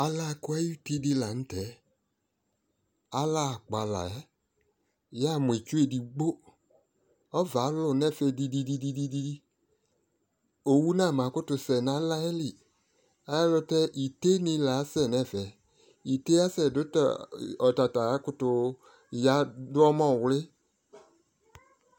Alakʊ ayʊtɩdɩ lanʊtɛ yamʊ itsu edigbo ɔcɛ alʊ nʊ ɛfɛ didi owʊ nama kʊtʊ sɛ nʊ alayɛlɩ ayʊɛlʊtɛ ɩtenɩ lasɛ nʊ ɛfɛ dʊ atata akʊtʊ zanʊ ɔmɔvlɩ